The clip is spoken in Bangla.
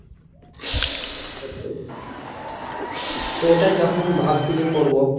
ওটাই তো এখন ভাবছি যে করবো